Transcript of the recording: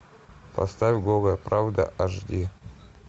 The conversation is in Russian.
поставь голая правда аш ди